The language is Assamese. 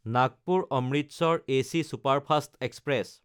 নাগপুৰ–অমৃতসৰ এচি ছুপাৰফাষ্ট এক্সপ্ৰেছ